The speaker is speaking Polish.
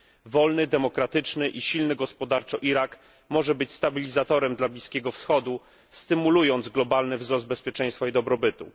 Wolny, demokratyczny i silny gospodarczo Irak może być stabilizatorem dla Bliskiego Wschodu, stymulując globalny wzrost bezpieczeństwa i dobrobytu.